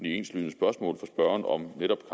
enslydende spørgsmål fra spørgeren om netop